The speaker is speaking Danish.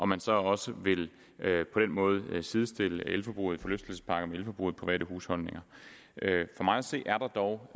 man så også på den måde vil sidestille elforbruget i forlystelsesparker med elforbruget i private husholdninger for mig at se er der dog